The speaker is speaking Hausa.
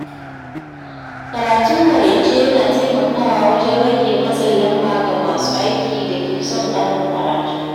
Karatun maraice yana taimakawa wajen rage matsin lamba ga masu aiki da ke son ƙarin karatu.